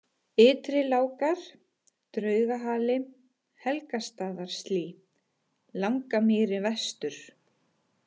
Ytrilágar, Draugahali, Helgastaðaslý, Langamýri Vestur